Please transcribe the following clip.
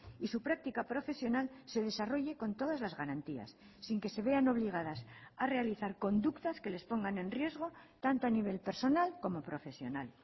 y su práctica profesional se desarrolle con todas las garantías sin que se vean obligadas a realizar conductas que les pongan en riesgo tanto a nivel personal como profesional